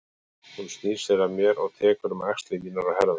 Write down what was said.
Hún snýr sér að mér og tekur um axlir mínar og herðar.